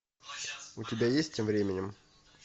у тебя есть тем временем